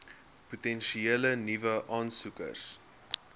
potensiële nuwe aansoekers